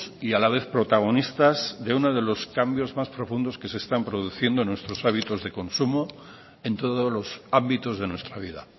y a la vez protagonistas de uno de los cambios más profundos que se están produciendo en nuestros hábitos de consumo en todos los ámbitos de nuestra vida